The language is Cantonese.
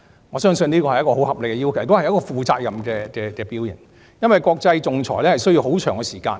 我相信這是一個十分合理的要求，也是負責任的表現，因為國際仲裁需要很長時間。